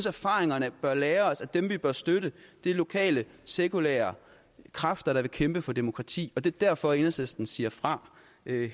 erfaringerne bør lære os at dem vi bør støtte er lokale sekulære kræfter der vil kæmpe for demokrati og det er derfor enhedslisten siger fra